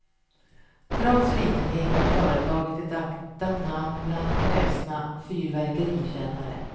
Trots litenheten har företaget ett aktat namn bland kräsna fyrverkerikännare.